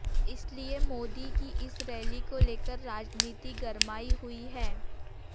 इसलिए मोदी की इस रैली को लेकर राजनीति गरमाई हुई है